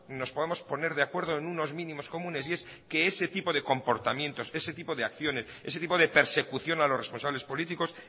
nos podamos poner de acuerdo en unos mínimos comunes y es que ese tipo de comportamientos ese tipo de acciones ese tipo de persecución a los responsables políticos